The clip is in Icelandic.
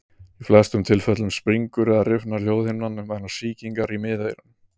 Í flestum tilfellum springur eða rifnar hljóðhimnan vegna sýkingar í miðeyranu.